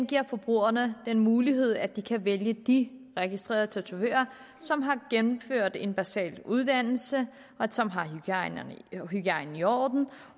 giver forbrugerne den mulighed at de kan vælge de registrerede tatovører som har gennemført en basal uddannelse som har hygiejnen i orden